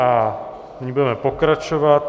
A nyní budeme pokračovat.